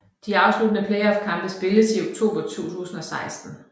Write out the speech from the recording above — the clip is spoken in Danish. De afsluttende playoffkampe spilles i oktober 2016